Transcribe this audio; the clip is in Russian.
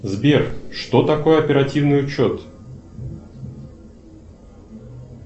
сбер что такое оперативный учет